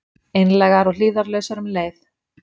Einlægar og hlífðarlausar um leið.